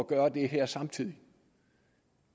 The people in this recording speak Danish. gøre det her samtidig